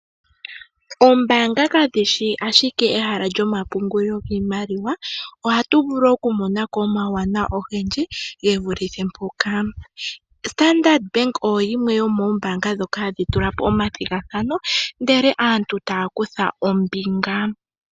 Oombaanga kadhishi ashike ehala lyomapungulilo giimaliwa. Ohatu vulu oku monako omawuwanawa ogendji gevuluthe mpoka .Standard oyo yimwe yomoombanga ndhoka hadhi tulapo omathigathano ndele aantu taya kutha ombinga.